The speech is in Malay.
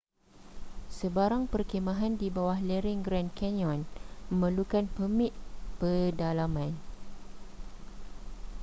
sebarang perkhemahan di bawah lereng grand canyon memerlukan permit pedalaman